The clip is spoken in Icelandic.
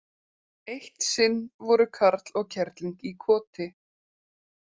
Eitt sinn voru karl og kerling í koti.